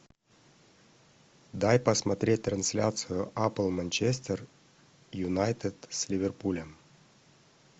дай посмотреть трансляцию апл манчестер юнайтед с ливерпулем